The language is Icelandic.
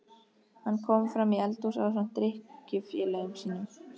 Hann kom framí eldhús ásamt drykkjufélögum sínum.